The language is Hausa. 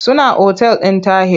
Suna otal ɗin Tahir.